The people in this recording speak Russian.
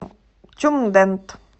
тюмдент